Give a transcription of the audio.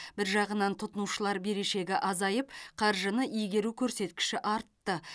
бір жағынан тұтынушылар берешегі азайып қаржыны игеру көрсеткіші артты